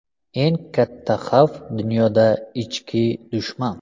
Eng katta xavf dunyoda ichki dushman.